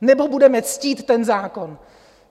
Nebo budeme ctít ten zákon?